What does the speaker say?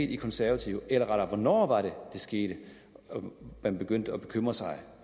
de konservative eller rettere hvornår var det det skete at man begyndte at bekymre sig